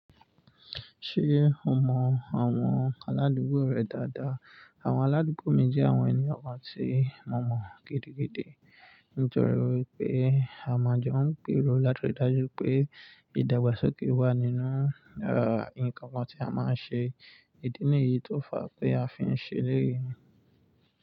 Ṣé o mọ àwọn aládùúgbò rẹ dáadáa? Àwọn aládùúgbò mi jẹ́ àwọn ènìyàn kan tí mo mọ gidigidi. Nítorí wípé a máa jẹun pírọ̀ láti rí dájú pé ìdàgbàsókè wà nínú, ah, ǹkan kan tí a máa ń ṣe. Ìdí nìyí tó fa pé a fi ń ṣe léèyí.